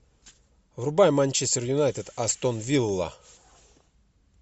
врубай манчестер юнайтед астон вилла